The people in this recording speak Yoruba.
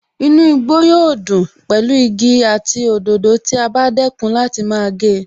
Inú igbó yóò dùn pẹ̀lú igi àti òdòdó tí a bá dẹ́kun láti máa gé e